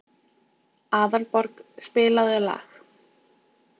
Aðalborg, spilaðu lag.